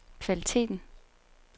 kvaliteten